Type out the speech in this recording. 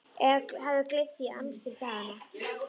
Eða hafði gleymt því í amstri daganna.